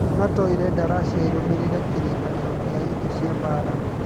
NATO ĩrenda Russia ĩrũmĩrĩre kĩrĩkanĩro kĩa indo cia mbaara